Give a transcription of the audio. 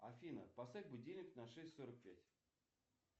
афина поставь будильник на шесть сорок пять